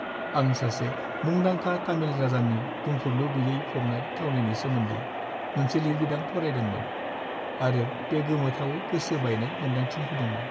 आं सासे मुंदांखा तामिल राजानि बुंफुरलु-गैयै फबनाय थावनिनि सोमोन्दै मोनसे लिरबिदां फरायदोंमोन आरो बे गोमोथावै गोसो बायनाय मोनदांथि होदोंमोन।